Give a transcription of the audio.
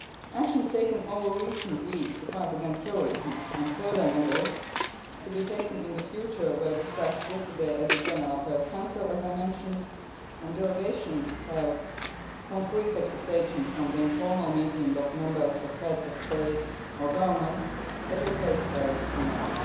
Actions taken over recent weeks to fight terrorism, and further measures to be taken in the future, were discussed yesterday at the General Affairs Council, as I have mentioned, and delegations have concrete expectations from the informal meeting of Heads of State or Governments that will take place tomorrow.